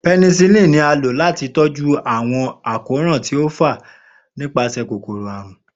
Penicillin ni a lo lati tọju awọn akoran ti o fa nipasẹ kokoro arun.